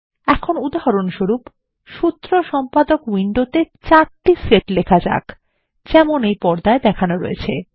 এখন উদাহরণস্বরূপ সূত্র সম্পাদক উইন্ডোতে ৪ টি সেট লেখা যাক যেমন পর্দায় দেখানো রয়েছে